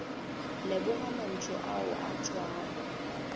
leboga mantšu ao a tšwago